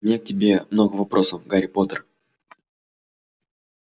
у меня к тебе много вопросов гарри поттер